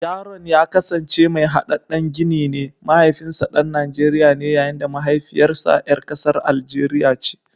Yaron ya kasance mai hadaddan gini ne, mahaifinsa dan Najeriya ne yayin da mahaifiyarsa ‘yar kasar Algeria ce.